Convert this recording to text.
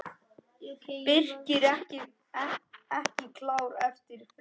Birkir ekki klár eftir fríið?